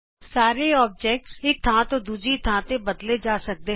ਸਾਰੇ ਅਕਾਰ ਇਕ ਥਾਂ ਤੋਂ ਦੂਜੀ ਥਾਂ ਤੇ ਬਦਲੇ ਜਾ ਸਕਦੇ ਹਨ